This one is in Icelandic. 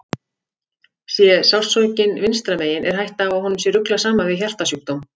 Sé sársaukinn vinstra megin er hætta á að honum sé ruglað saman við hjartasjúkdóm.